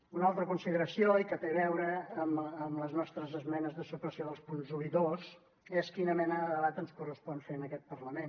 una altra consideració i que té a veure amb les nostres esmenes de supressió dels punts un i dos és quina mena de debat ens correspon fer en aquest parlament